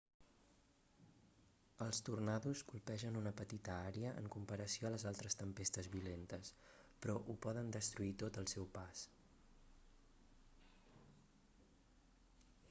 els tornados colpegen una petita àrea en comparació a les altres tempestes violentes però ho poden destruir tot al seu pas